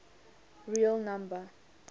real number